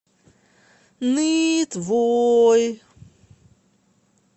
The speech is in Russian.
нытвой